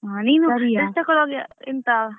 ನೀನು dress ತಗೋಳ್ವಾಗ ಎಂತ,